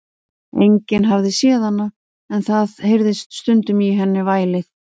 Enginn hafði séð hana, en það heyrðist stundum í henni vælið.